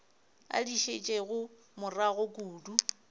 a di šetšego morago kudu